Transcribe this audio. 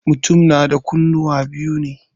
Mutum na da kunnuwa biyu ne.